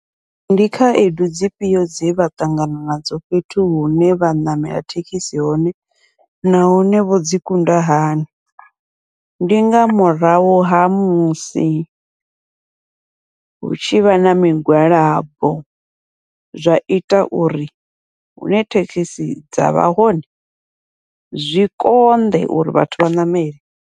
Ndi khaedu dzifhio dze vha ṱangana nadzo fhethu hune vha ṋamela thekhisi hone nahone vho dzi kunda hani, ndi nga murahu ha musi hu tshivha na migwalabo, zwa ita uri hune thekhisi dzavha hone zwi konḓe uri vhathu vha ṋamele.